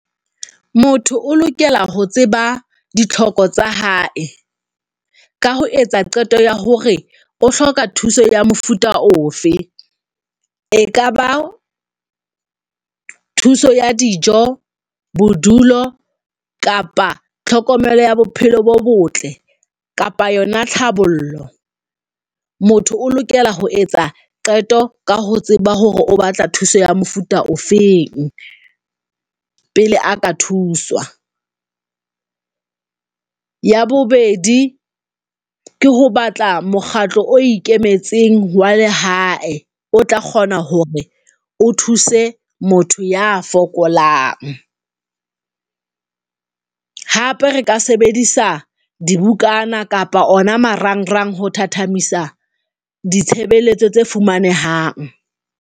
Motho o lokela ho tseba ditlhoko tsa hae ka ho etsa qeto ya hore o hloka thuso ya mofuta ofe e kaba thuso ya dijo, bodulo, kapa tlhokomelo ya bophelo bo botle kapa yona tlhabollo. Motho o lokela ho etsa qeto ka ho tseba hore o batla thuso ya mofuta ofeng pele a ka thuswa. Ya bobedi, ke ho batla mokgatlo o ikemetseng. Jwale hae o tla kgona hore o thuse motho ya fokolang hape re ka sebedisa dibukana kapa ona marangrang ho thathamisa ditshebeletso tse fumanehang.